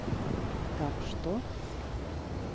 так что